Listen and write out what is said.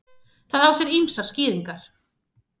Það á sér ýmsar skýringar.